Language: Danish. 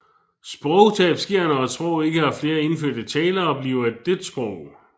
Sprogtab sker når et sprog ikke har flere indfødte talere og bliver et dødt sprog